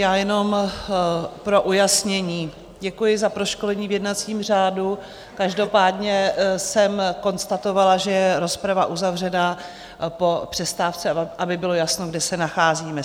Já jenom pro ujasnění, děkuji za proškolení v jednacím řádu, každopádně jsem konstatovala, že je rozprava uzavřená po přestávce, aby bylo jasno, kde se nacházíme.